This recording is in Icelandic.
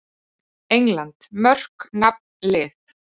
England: Mörk- Nafn- Lið.